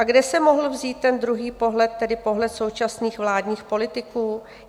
A kde se mohl vzít ten druhý pohled, tedy pohled současných vládních politiků?